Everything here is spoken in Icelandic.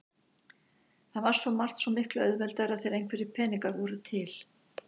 Það var svo margt svo miklu auðveldara þegar einhverjir peningar voru til.